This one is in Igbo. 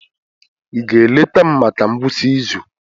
Ị ga-eleta m maka ngwụsị izu?